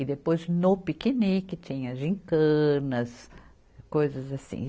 E depois, no piquenique, tinha gincanas, coisas assim.